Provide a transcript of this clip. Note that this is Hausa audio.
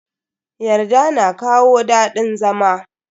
Yarda na kawo dadin zama.